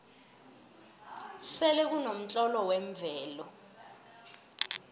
selekunomtlolo wemvelo